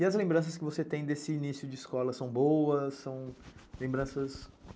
E as lembranças que você tem desse início de escola são boas?